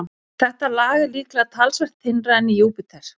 Þetta lag er líklega talsvert þynnra en í Júpíter.